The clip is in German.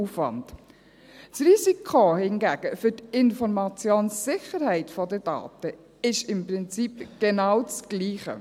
Das Risiko für die Informationssicherheit der Daten hingegen ist im Prinzip genau das Gleiche.